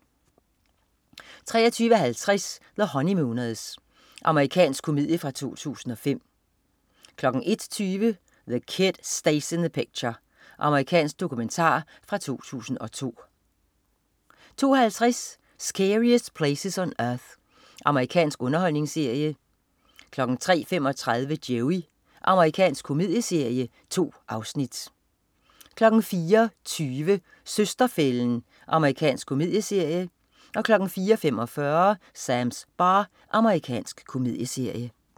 23.50 The Honeymooners. Amerikansk komedie fra 2005 01.20 The Kid Stays in the Picture. Amerikansk dokumentar fra 2002 02.50 Scariest Places on Earth. Amerikansk underholdningsserie 03.35 Joey. Amerikansk komedieserie. 2 afsnit 04.20 Søster-fælden. Amerikansk komedieserie 04.45 Sams bar. Amerikansk komedieserie